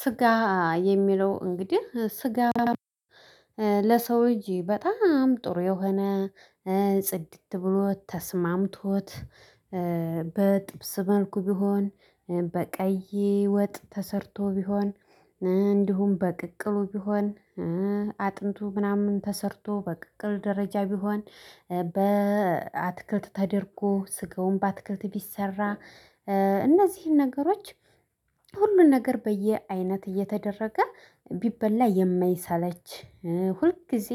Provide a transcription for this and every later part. ስጋ የሚለው እንግዲህ ስጋ ለሰው ልጅ በጣም ጥሩ የሆነ ጽድት ብሎ ተስማምቶት በጥብስ መልኩ ቢሆን በቀይ ወጥ ተሰርቶ ቢሆን እንዲሁም በቅቅሉ ቢሆን አጥንቱ ምናምን ተሰርቶ በቅቅል ደረጃ ቢሆን በአትክልት ተደርጎ ስጋውን በአትክልት ቢሰራ እነዚህን ነገሮች ሁሉን ነገር በየአይነት እየተደረገ ቢበላ የማይሳለች ሁልጊዜ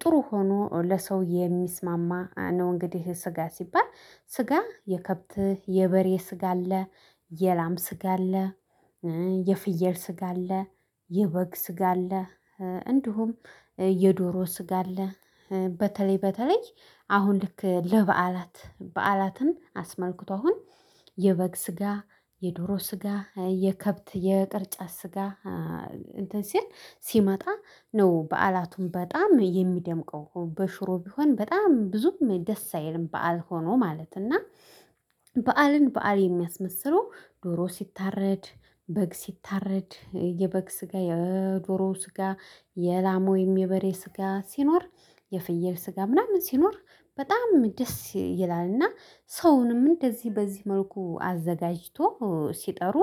ጥሩ ሆኖ ለሰው የሚስማማ ነው። እንግዲህ ስጋ ሲባል ስጋ የከብት የበሬ ስጋ አለ። የላም ስጋ አለ። የፍየል ስጋ አለ። የበግ ስጋ አለ። እንዲሁም የዶሮ ስጋ አለ። በተለይ በተለይ አሁን ልክ ለበዓላት በዓላትን አስመልክቶ አሁን የበግ ስጋ የዶሮ ስጋ የከብት የቅርጫ ስጋ እንትን ሲል ሲመጣ ነው። በዓላቱም በጣም የሚደምቀው በሽሮ ቢሆን በጣም ብዙም ደስ አይልም በዓል ሆኖ ማለት እና። በዓልን በዓል የሚያስመስለው ዶሮ ሲታረድ በግ ሲታረድ የበግ ስጋ የዶሮ ስጋ የላም ወይም የበሬ ስጋ ሲኖር የፍየል ስጋ ምናምን ሲኖር በጣም ደስ ይላል። እና ሰውንም እንደዚህ በዚህ መልኩ አዘጋጅቶ ሲጠሩ።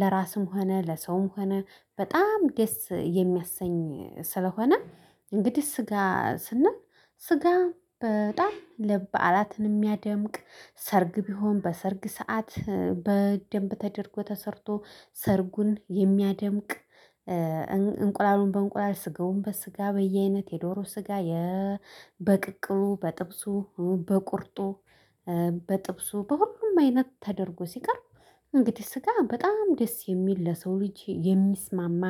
ለራስም ሆነ ለሰውም ሆነ በጣም ደስ የሚያሰኝ ስለሆነ። እንግዲህ ስጋ ስንል ስጋ በጣም በዓላትን የሚያደምቅ ሰርግ ቢሆን በሰርግ ሰዓት በደንብ ተደርጎ ተሰርቶ ሰርጉን የሚያደምቅ እንቁላሉን በእንቁላል ስጋውን በስጋ በየአይነት የዶሮ ስጋ። በቅቅሉ በጥብሱ በቁርጡ በጥብሱ በሁሉም አይነት ተደርጎ ሲቀርብ። እንግዲህ ስጋ በጣም ደስ የሚል ለሰው ልጅ የሚስማማ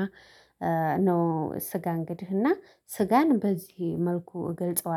ነው። ስጋ እንግዲህ እና ስጋን በዚህ መልኩ እገልጸዋለሁ